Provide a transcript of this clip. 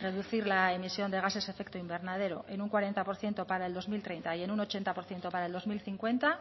reducir la emisión de gases efecto invernadero en un cuarenta por ciento para el dos mil treinta y en un ochenta por ciento para el dos mil cincuenta